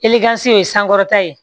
ye sankɔrɔta ye